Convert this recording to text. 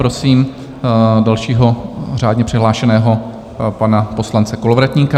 Prosím dalšího řádně přihlášeného pana poslance Kolovratníka.